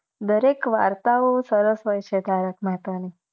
દરેક વરતવો સરસ હોય છે તારક મેહતા ની